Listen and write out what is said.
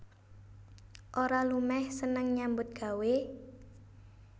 Ora lumeh seneng nyambut gawé